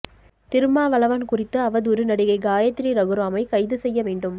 திருமாவளவன் குறித்து அவதூறு நடிகை காயத்ரி ரகுராமை கைது செய்ய வேண்டும்